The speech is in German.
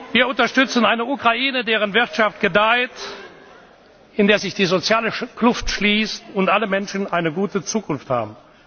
werden. Wir unterstützen eine Ukraine, deren Wirtschaft gedeiht, in der sich die soziale Kluft schließt und alle Menschen eine gute